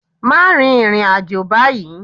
Má rin ìrìn àjò báyìí.